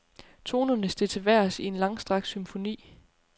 Tonerne steg til vejrs i en langstrakt symfoni.